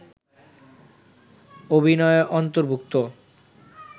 অভিনয়ে অর্ন্তভুক্ত